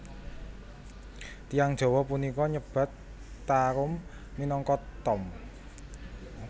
Tiyang Jawa punika nyebat tarum minangka tom